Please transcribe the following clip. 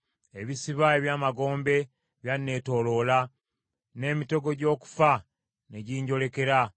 Ebisiba eby’amagombe byanneetooloola; n’emitego gy’okufa ne ginjolekera.